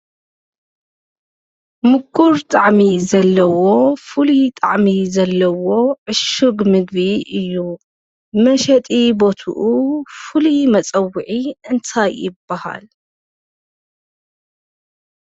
ምቁር ጣዕሚ ዘለዎ ፉሉይ ጣዕሚ ዘለዎ ዕሹግ ምግቢ እዩ፡፡ መሸጢ ቦትኡ ፉሉይ መፀዊዒኡ እንታይ ይባሃል?